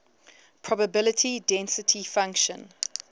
probability density function